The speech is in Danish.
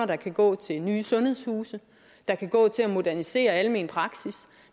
der kan gå til nye sundhedshuse der kan gå til at modernisere den almene praksis